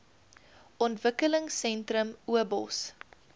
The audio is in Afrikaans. ontwikkelingsentrums obos